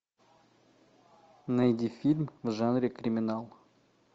найди фильм в жанре криминал